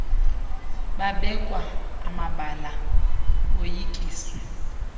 babekwa amabala boyikiswe